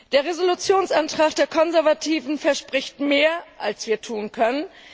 Der Entschließungsantrag der Konservativen verspricht mehr, als wir tun können.